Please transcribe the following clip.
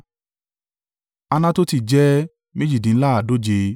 Anatoti jẹ́ méjìdínláàádóje (128)